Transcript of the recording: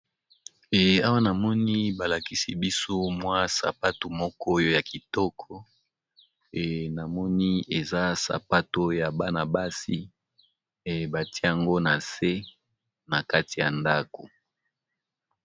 awa namoni balakisi biso mwa sapato moko oyo ya kitoko namoni eza sapato ya bana-basi batiango na se na kati ya ndako.